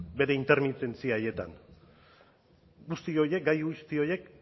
bere intermitentzia haietan guzti horiek gai guzti horiek